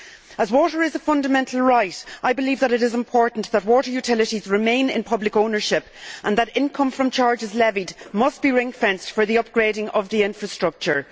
As water is a fundamental right, I believe that it is important that water utilities remain in public ownership, and that income from charges levied must be ring fenced for the upgrading of the infrastructure.